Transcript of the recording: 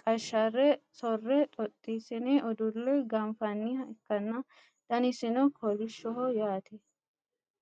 qashare sore xoxosine udule ganfaniha ikana danisino kolishoho yaate